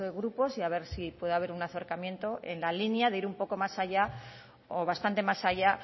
grupos y a ver si puede haber un acercamiento en la línea de ir un poco más allá o bastante más allá